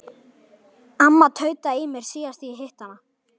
Amma tautaði í mér síðast þegar ég hitti hana.